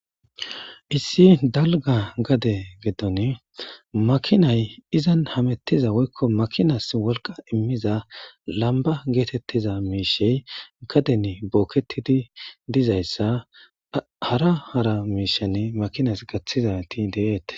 Issi dalga gade gidon makinay izan hamutiza woyko makinas wolqa imiza lamba getetiza mishey gaden boketid dizaysa hara hara mishan makinas gathizayt de'etes.